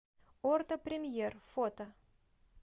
орто премьер фото